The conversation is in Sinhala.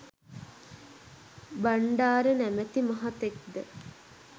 බණ්ඩාර නමැති මහතෙක් ද